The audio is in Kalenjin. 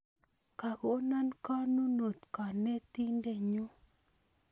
Kagono konunot kanetindennyu